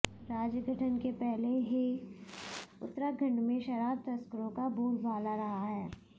राज्य गठन के पहले से ही उत्तराखण्ड में शराब तस्करों का बोलबाला रहा है